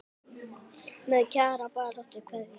Með Kjara baráttu kveðju.